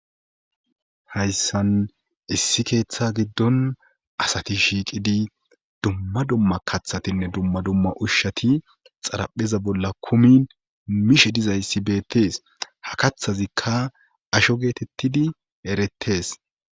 Hayssan issi keeththa giddon asati shiiqidi dumma dumma kathatinne dumma dumma ushshati xarapheza bolla kumin mishe dizayssi beettes ha kathazikka asho geetettidi erettees.